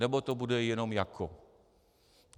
Nebo to bude jenom jako.